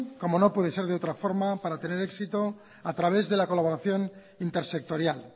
como no puede ser de otra manera para tener éxito a través de la colaboración intersectorial